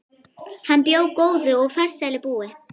Hann bjó góðu og farsælu búi.